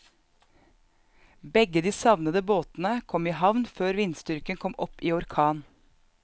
Begge de savnede båtene kom i havn før vindstyrken kom opp i orkan.